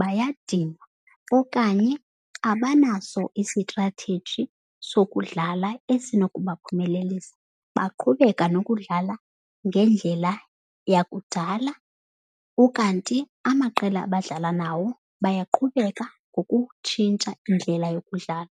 bayadinwa okanye abanaso isitratheji sokudlala esinokubaphumelelisa. Baqhubeka nokudlala ngendlela yakudala, ukanti amaqela abadlala nawo bayaqhubeka ngokutshintsha indlela yokudlala.